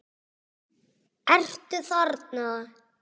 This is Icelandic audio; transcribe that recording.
Ertu þarna?